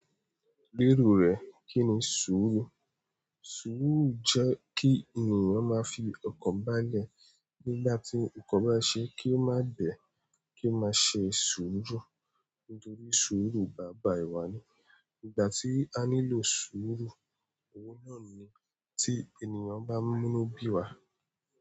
Lérò rẹ Kí ni sùúrù? Sùúrù jẹ́ kí ènìyàn máa fi ọkàn bá lẹ̀ nígbà tí nnkan bá ṣe kí ó má bẹ̀, kí ó má ṣe ṣòro nítorí sùúrù bàbá ìwà ni. Ìgbà tí a nílò sùúrù, òwó náà ni tí ènìyàn bá mú inu bí wa.